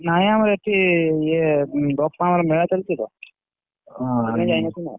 ନାଇ ଆମର ଏଠି ଇଏ ବାପାଙ୍କର ମେଳା ଚାଲିଛି ତ ହଁ ସେଇପାଇଁ ଯାଇନଥିଲୁ ନା।